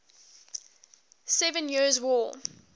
seven years war